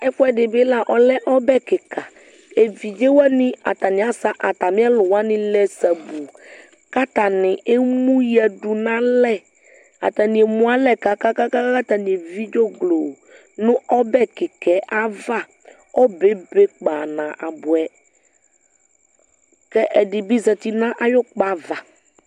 Ɛfuɛ di bi la, ɔlɛ ɔbɛ kika Evidze wani, ataniasɛ atami ɛlʋ wani lɛ sabuu kʋ atani emʋ yadʋ n'alɛ Atani emu alɛ kakakaka kʋ atani evi dzɔgloo nʋ ɔbɛ kika yɛ ayava Ɔbɛ ebe kpanabuɛ kʋ ɛdi bi zati nʋ ayʋkpa ava